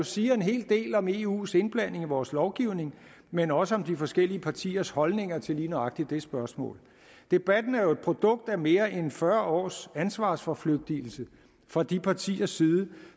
siger en hel del om eus indblanding i vores lovgivning men også om de forskellige partiers holdninger til lige nøjagtig det spørgsmål debatten er jo et produkt af mere end fyrre års ansvarsforflygtigelse fra de partiers side